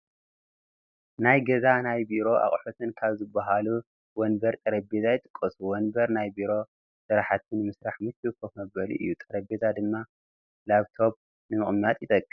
ናይ ገዛን ናይ ቢሮን ኣቕሑት ካብ ዝባሃሉ ወንበርን ጠረጼዛን ይጥቀሱ፡፡ ወንበር ናይ ቢሮ ስራሕቲ ንምስራሕ ምችው ከፍ መበሊ እዩ፡፡ ጠረጼዛ ድማ ላብቶብ ንምቕማጥ ይጠቅም፡፡